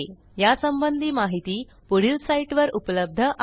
यासंबंधी माहिती पुढील साईटवर उपलब्ध आहे